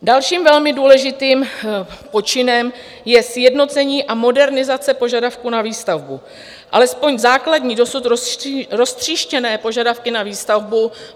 Dalším velmi důležitým počinem je sjednocení a modernizace požadavků na výstavbu - alespoň základní dosud roztříštěné požadavky na výstavbu.